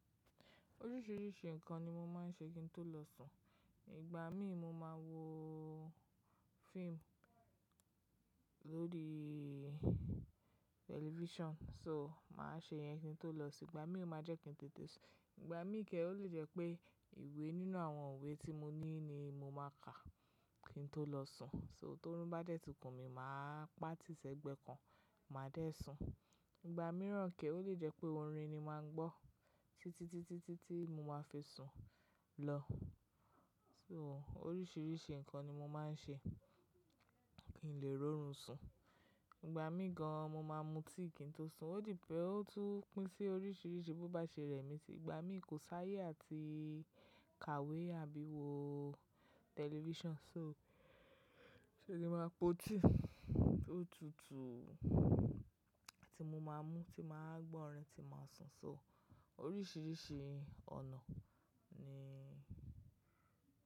Oríṣìíríṣìí ǹkan ni mo máa ń ṣe kí n tó lọ sùn. Ìgbà mí mo máa wo fíìmù lórí tẹlifíṣàn. So máa ṣe yẹn kí n tó lọ sùn. Ìgbà mí ó máa jẹ́ kí n tètè sùn. Ìgbà mí kẹ́ẹ́ ó lè jẹ́ pé ìwé nínú àwọn ìwé tí mo ní ni mo máa kàá kí n tó lọ sùn. So tó run bá dẹ́ẹ̀tì kùn mí máa pa tìsẹ́gbẹ́ kan, màá dé sùn. Ìgbà mìíràn kẹ́ẹ́ ó lè jẹ́ pé orin ni máa ń gbọ́ títí tí tí tí mo máa fi sùn lọ. So oríṣìíríṣìí ǹkan ni mo máa ń ṣe kí n lè rorùn sùn. Ìgbà mí gan an mo máa mutí kí n tó sùn. Ó dipè, ó tún pín sí oríṣìíríṣìí bó bá ṣe rẹ̀ mí. Ìgbà mí kò sáyé àti kàwé àbí wo tẹlifíṣàn, so ṣe ni máa po tíì tó tutù tí mo máa mú, tí màá gbọ́ orin, tí màá sùn. So oríṣìíríṣìí ọ̀nà ni.